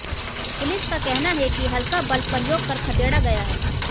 police का कहना है कि हल्का बलप्रयोग कर खदेड़ा गया है